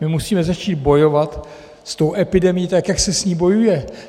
My musíme začít bojovat s tou epidemií tak, jak se s ní bojuje.